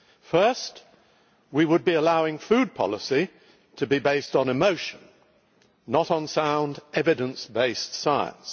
First, we would be allowing food policy to be based on emotion, not on sound, evidence based science.